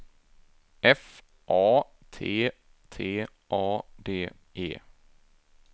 F A T T A D E